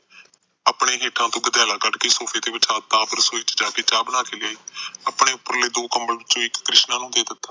ਆਪਣੇ ਹੇਠੋ ਗਦੈਲਾ ਕੱਦ ਕੇ ਸੋਫੇ ਤੇ ਵਿਸ਼ਾ ਤਾ ਆਪ ਰਸੋਈ ਚ ਜਾ ਕੇ ਚਾਅ ਬਣਾ ਕੇ ਲਿਆਈ ਆਪਣੇ ਉਪਰੇ ਦੋ ਕੰਬਲਾਂ ਵਿੱਚੋ ਇੱਕ ਕ੍ਰਿਸ਼ਨਾ ਨੂੰ ਦੇ ਦਿੱਤਾ